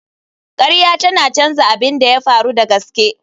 Ƙarya tana canza abin da ya faru da gaske.